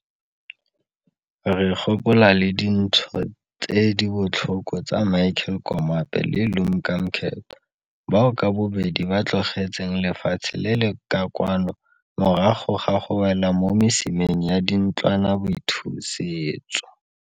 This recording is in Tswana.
Re gopola le dintsho tse di botlhoko tsa Michael Komape le Lumka Mkethwa, bao ka bobedi ba tlogetseng lefatshe le le ka kwano morago ga go wela mo mesimeng ya dintlwanaboithusetso.